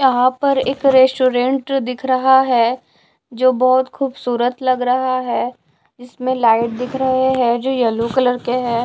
यहां पर एक रेस्टोरेंट दिख रहा है जो बहोत खूबसूरत लग रहा है इसमें लाइट दिख रहे हैं जो येलो कलर के है।